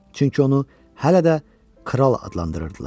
Çünki onu hələ də kral adlandırırdılar.